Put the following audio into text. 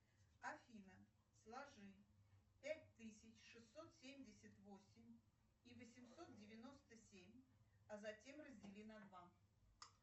афина сложи пять тысяч шестьсот семьдесят восемь и восемьсот девяносто семь а затем раздели на два